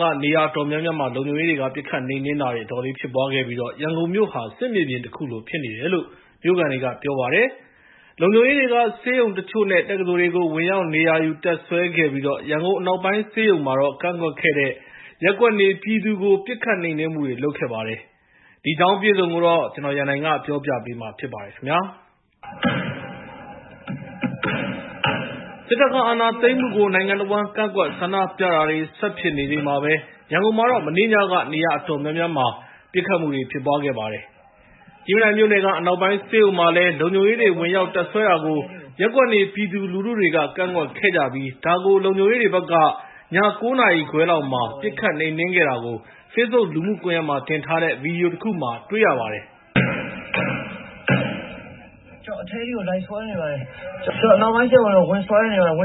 က နေရာအတော်များများမှာ လုံခြုံရေးတွေက ပစ်ခတ်နှိမ်နှင်းတာတွေ အတော်လေးဖြစ်ပွားခဲ့ပြီး၊ ရန်ကုန်မြို့ဟာ စစ်မြေပြင်တခုလိုဖြစ်နေတယ်လို့ မြိုခံတွေက ပြောပါတယ်။ စစ်တပ်နဲ့ ရဲတပ်ဖွဲ့ဝင်တွေက ဆေးရုံတချို့ နဲ့ တက္ကသိုလ်တွေကို ဝင်ရောက်နေရာယူ တပ်စွဲခဲ့ပြီး၊ ရန်ကုန် အနောက်ပိုင်းဆေးရုံမှာတော့ ကန့်ကွက်တဲ့ ရပ်ကွက်နေပြည်သူတွေကို ပစ်ခတ်နှိမ်နှင်းမှုတွေ လုပ်ခဲ့ပါတယ်။ ဒီအကြောင်းအပြည့်အစုံကိုတော့ ကိုရန်နိုင်က ပြောပြမှာဖြစ်ပါတယ်။ စစ်တပ်ကအာဏာသိမ်းမှုကို နိုင်ငံတဝန်း ကန့်ကွက်ဆန္ဒပြတာတွေ ဆက်ဖြစ်နေချိန်မှာပဲ၊ ရန်ကုန်မှာတော့ မနေ့ညက နေရာ အတော်များများမှာ ပစ်ခတ်မှုတွေ ဖြစ်ပွားခဲ့ပါတယ်။ ကြည့်မြင်တိုင်မြို့နယ်က အနောက်ပိုင်းဆေးရုံမှာလည်း လုံခြုံရေးတွေ ဝင်ရောက်တပ်စွဲတာကို ရပ်ကွက်နေပြည်သူလူထုတွေက ကန့်ကွက်ခဲ့ကြပြီး၊ ဒါကို လုံခြုံရေးတွေဘက်က ည ၉ နာရီခွဲ လောက်မှာတော့ ပစ်ခတ်နှိမ်နှင်းခဲ့တာကို Facebook လူမှုကွန်ရက်မှာ တင်ထားတဲ့ ဗီဒီယိုတခုမှာ တွေ့ရပါတယ်။ "... ကျနော်တို့ အနောက်ပိုင်းဆေးရုံကို ဝင်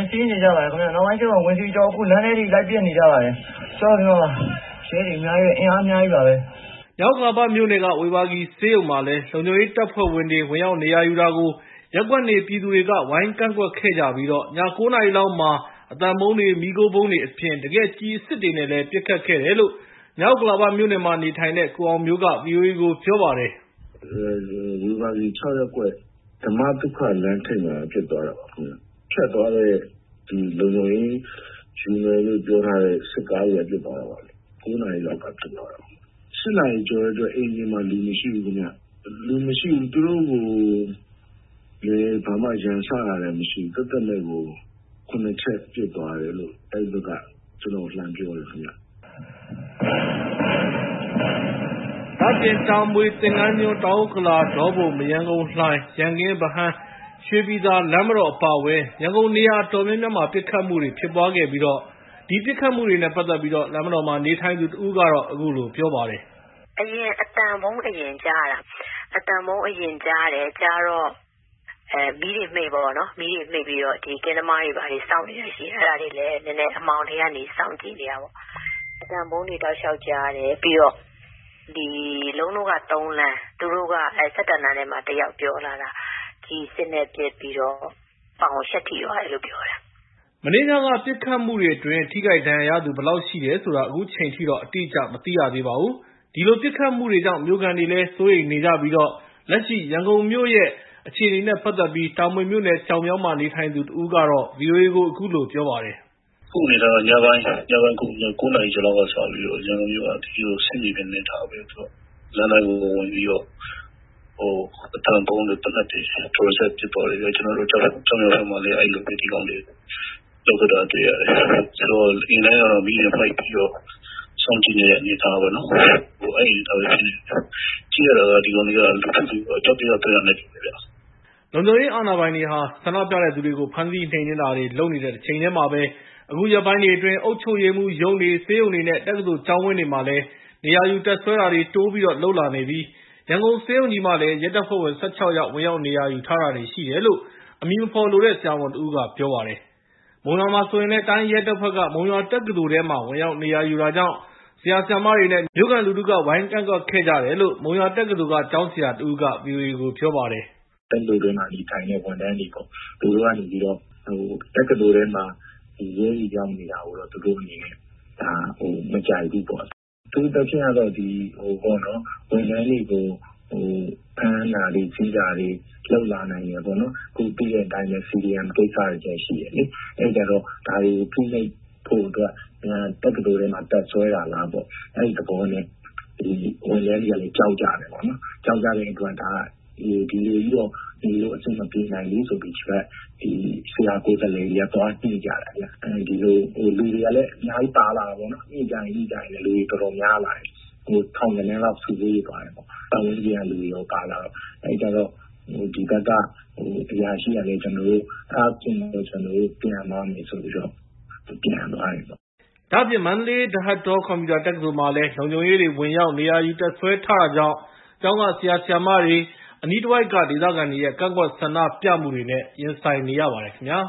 စီးပြီး ဝင်ဆွဲ နေကြပါတယ် ။ လမ်းထဲထိ ဝင်ပစ်နေပါတယ်။ ရဲတွေ အင်အား အများကြီးပါ.... " မြောက်ဥက္ကလာမြို့နယ်က ဝေဘာဂီဆေးရုံမှာလည်း လုံခြုံရေးတပ်ဖွဲ့တွေ ဝင်ရောက်နေရာယူတာကို ရပ်ကွက်နေပြည်သူတွေက ဝိုင်းကန့်ကန့်ကွက်ခဲ့ပြီး၊ ည ၉ နာရီ လောက် အသံဗုံးတွေ၊ မီးခိုးဗုံးတွေအပြင် တကယ် ကျည်အစစ်တွေနဲ့ပါ ပစ်ခတ်ခဲ့တယ်လို့ မြောက်ဥက္ကလာမြို့နယ်မှာနေထိုင်တဲ့ ကိုအောင်မျိုးက ဗိအိုအေကို ပြောပါတယ်။ " ဝေဘာဂီ ၆ ရပ်ကွက် ဓမ္မသုခ လမ်းထိပ်မှာ ဖြစ်သွားတာပါ။ ဖြတ်သွားတဲ့ လုံခြုံရေးစစ်ကားတွေက ပစ်သွားတာပါခင်ဗျ။ ၉ နာရီလောက်က ဖြစ်သွားတာ။ ၈ နာရီကျော်ကတည်းက အိမ်ပြင်မှာ လူမရှိဘူးခင်ဗျ။ သူတို့ကိုလည်း ဘာမှ ရန်စတာမျိုးလည်း မရှိပဲနဲ့ သက်သက်မဲ့ကို ၇ ချက်ပစ်သွားတယ်လို့ အဲဒီဘက်က ကျနော့်ကို လှမ်းပြောတယ်ခင်ဗျ။ " ဒါ့အပြင် တာမွေမြို့နယ် ကျောက်မြောင်း ၊ သင်္ကၤန်းကျွန်း၊ တောင်ဥက္ကလာ၊ ဒေါပုံ၊ မရမ်းကုန်း လှိုင်၊ ရန်ကင်း ၊ ဗဟန်း ရွှေပြည်သာမြို့နယ်တွေ အပါအဝင် ရန်ကုန်မြို့ နေရာ အတော်များများမှာ ပစ်ခတ်မှုတွေဖြစ်ပွားခဲ့ပြီး လမ်းမတော်မှာ နေထိုင်သူတဦးက အခုလို ပြောပါတယ်။ " အသံဗုံးသံကို အရင်ကြားရတာ။ ကြားတော့ာ မီးတွေမှိတ်လိုက်တယ်ပေါ့။ ကင်းသမားတွေ ဘာတွေကလည်း ရှိတော့ သူတို့လည်း အမှောင်ထဲကနေ စောင့်ကြည့်နေတာပေါ့။ ကျမတို့က ၃ လမ်း ၊ သူတို့က ၁၁ လမ်းမှာနေတဲ့သူတွေ သူတို့က လှမ်းပြောတာက..ကျည်အစစ်နဲ့ ပစ်တော့ ပေါင်ကို ရှပ်ထိသွားတယ်လို့ ပြောတယ်။ " မနေ့ညက ပစ်ခတ်မှုတွေအတွင်း ထိခိုက်ဒဏ်ရာရသူ ဘယ်လောက်ရှိတယ်ဆိုတာကို အခုချိန်ထိ အတိအကျမသိရသေးပါဘူး။ ဒီလို ပစ်ခတ်မှုတွေကြောင့် မြို့ခံတွေဟာ စိုးရိမ်နေကြပြီး ၊ လက်ရှိရန်ကုန်မြို့ရဲ့ လက်ရှိဖြစ်နေတဲ့ အခြေအနေနဲ့ ပတ်သက်ပြီး တာမွေမြို့နယ် ကျောက်မြောင်း မှာ နေထိုင်သူတဦးကတော့ ဗီအိုအေကို အခုလို ပြောပါတယ်။ " အခုအနေအထားက ညပိုင်း ၉ နာရီဆိုရင် ရန်ကုန်မြို့က စစ်မြေပြင်လို အနေအထားဖြစ်နေတယ်။ လမ်းတိုင်းကို ဝင်ဝင်ပြီးတော့ အသံဗုံးတွေ သေနတ်တွေနဲ့ ဒလစပ် ပစ်သွားတယ်။ ကျနော်တို့ ကျောက်မြောင်းဖက်မှာလည်း ဒီကောင်တွေ အဲဒီလိုပဲ လုပ်သွားတာ တွေ့ရတယ်။ ဆိုတော့ အိမ်တိုင်းကတော့ မီးတွေ မှိတ်ပြီးတော့ စောင့်ကြည့်နေရတဲ့ အနေအထားပဲ ဖြစ်နေတာပေါ့။ ကြည့်ရတာ ဒီကောင်တွေက လူထုကို အကြောက်တရား သွင်းတာနဲ့တူတယ်။ " လုံခြုံရေးအာဏာပိုင်တွေဟာ ဆန္ဒပြတဲ့သူတွေကို ဖမ်းဆီးနှိမ်နှင်းတာ တွေလုပ်နေတဲ့တချိန်တည်းမှာပဲ၊ အခုရက်ပိုင်းတွေအတွင်း အုပ်ချုပ်ရေးမှူးရုံးတွေ၊ ဆေးရုံတွေ၊ နဲ့ တက္ကသိုလ်ကျောင်းဝင်းတွေမှာလည်း နေရာယူတပ်စွဲတာတွေ တိုးပြီးလုပ်လာနေပြီး ရန်ကုန်ဆေးရုံးကြီးမှာလည်း ရဲတပ်ဖွဲ့ဝင် ၁၆ ယောက် ဝင်ရောက်နေရာယူထားတာတွေရှိတယ်လို့ အမည်မဖော်လိုတဲ့ ဆရာဝန်တဦးက ပြောပါတယ်။ မုံရွာမှာဆိုရင်လည်း တိုင်းရဲတပ်ဖွဲ့က မုံရွာတက္ကသိုလ်ထဲမှာ ဝင်ရောက်နေရာယူတာကြောင့် ဆရာ၊ ဆရာမတွေ နဲ့ မြို့ခံလူထုက ဝိုင်းဝန်းကန့်ကွက်ခဲ့ကြပြီး မုံရွာတက္ကသိုလ်ကကျောင်းဆရာတဦးက ဗီအိုအေပြောပါတယ်။ " တက္ကသိုလ်ထဲမှာ နေထိုင်တဲ့ ဝန်ထမ်းတွေပေါ့၊ သူတို့က နေပြီးတော့ တက္ကသိုလ်ထဲမှာ အခုလို ရဲတွေ ရောက်နေတာကို သူတို့ မကြိုက်ဘူးပေါ့။ အထူးသဖြင့်တော့ ဝန်ထမ်းတွေကို ဖမ်းဆီးတာတွေ လုပ်လာနိုင်တယ်ပေါ့။ ခု သိတဲ့အတိုင်းပဲ CDM ကိစ္စတွေလည်း ရှိတယ်လေ။ အဲဒီအခါကျတော့ ဒါတွေကို ဖိနှိပ်ဖို့အတွက် တက္ကသိုလ်ထဲလာပြီး တပ်စွဲတာလားပေါ့။ အဲဒီသဘောနဲ့ ဝန်ထမ်းတွေက ကြောက်ကြတယ်ပေါ့။ ကြောက်ကြတဲ့အတွက် ဒီလိုကြီးတော့ နေလို့ အဆင်မပြေနိုင်ဘူးဆိုပြီး ဒီဘက်က ဆရာကိုယ်စားလှယ်တွေက သွားညှိကြတယ်။ လူတွေကလည်း အများကြီး ပါလာတာပေါ့။ ညှိကြရင်းနဲ့ လူတွေပိုများလာတယ်။ ပတ်ဝန်းကျင်ကလူတွေပါ ပါလာတော့ ထောင်ဂဏန်းကျော် ဖြစ်သွားတယ်။ အဲဒီခါကျတော့ သူတို့ဘက်က အရာရှိက ဘာပြောလည်းဆိုတော့ အဲဒါဆိုရင် ကျနော်တို့ ပြန်မယ်ဆိုပြီး ပြန်လစ်သွားကြတယ်။ " မန္တလေး ဒဟတ်တော ကွန်ပျူတာတက္ကသိုလ်မှာတော့ လုံခြုံရေးတွေ ဝင်ရောက်နေရာယူတပ်စွဲတာတွေကြောင့် ကျောင်းက ဆရာ ဆရာမှာတွေ နဲ့ အနိးတဝိုက်ကဒေသခံတွေရဲ့ ကန့်ကွက်ဆန္ဒပြမှုတွေ နဲ့ ရင်ဆိုင်နေရပါတယ်ခင်ဗျာ